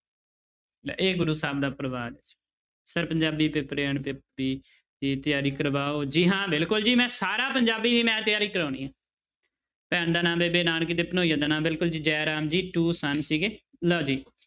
ਇਹ ਗੁਰੂ ਸਾਹਿਬ ਦਾ ਪਰਿਵਾਰ sir ਪੰਜਾਬੀ ਦੀ ਤਿਆਰੀ ਕਰਵਾਓ ਜੀ ਹਾਂ ਬਿਲਕੁਲ ਜੀ ਮੈਂ ਸਾਰਾ ਪੰਜਾਬੀ ਦੀ ਮੈਂ ਤਿਆਰੀ ਕਰਵਾਉਣੀ ਹੈ ਭੈਣ ਦਾ ਨਾਂ ਬੇਬੇ ਨਾਨਕੀ ਤੇ ਭਣੋਈਏ ਦਾ ਨਾਮ ਬਿਲਕੁਲ ਜੀ ਜੈ ਰਾਮ ਜੀ two son ਸੀਗੇ ਲਓ ਜੀ।